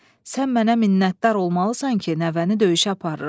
Sən mənə minnətdar olmalısan ki, nəvəni döyüşə aparıram.